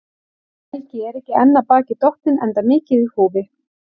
Helgi er ekki enn af baki dottinn, enda mikið í húfi.